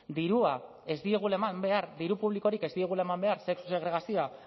dirua ez diegula eman behar diru publikorik ez diegula eman behar sexu segregazioa